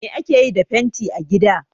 Me ake yi da fenti a gida?